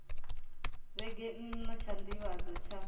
vhege nna tsha nḓivhadzo tsha